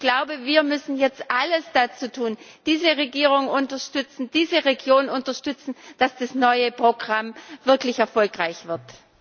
Ich glaube, wir müssen jetzt alles dazu tun, um diese Regierung zu unterstützen, diese Region zu unterstützen, damit das neue Programm wirklich erfolgreich wird.